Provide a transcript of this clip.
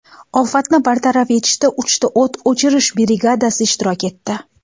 Ofatni bartaraf etishda uchta o‘t o‘chirish brigadasi ishtirok etdi.